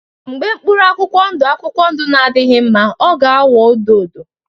Mgbe mkpụrụ akwụkwọ ndụ akwụkwọ ndụ na-adịghị mma ọ ga-aghọ odo odo